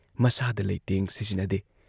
ꯃꯁꯥꯗ ꯂꯩꯇꯦꯡ ꯁꯤꯖꯤꯟꯅꯗꯦ ꯫